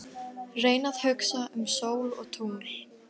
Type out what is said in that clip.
Reyni að hugsa um sól og tungl.